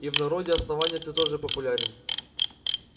и в народе основания ты тоже популярен